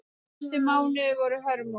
Næstu mánuðir voru hörmung.